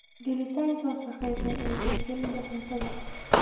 Gelitaanka wasakhaysan ee silsiladda cuntada.